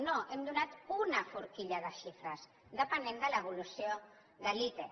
no hem donat una forquilla de xifres depenent de l’evolució de l’ite